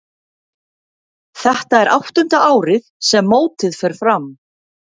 Þetta er áttunda árið sem mótið fer fram.